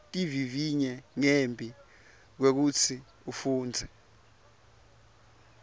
tivivinye ngembi kwekutsi ufundze